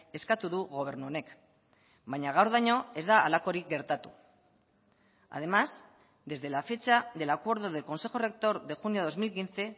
eskatu du gobernu honek baina gaurdaino ez da halakorik gertatu además desde la fecha del acuerdo del consejo rector de junio dos mil quince